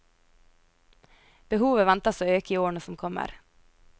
Behovet ventes å øke i årene som kommer.